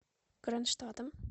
кронштадтом